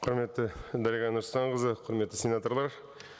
құрметті дариға нұрсұлтанқызы құрметті сенаторлар